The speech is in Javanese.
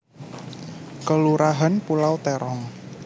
Kelurahan Pulau Terong